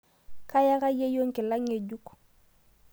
Kayaka yeiyo nkila ng'ejuk